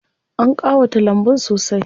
An ƙawata lambun sosai.